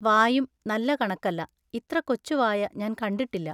വായും നല്ല കണക്കല്ല. ഇത്രകൊച്ചു വായ ഞാൻ കണ്ടിട്ടില്ല.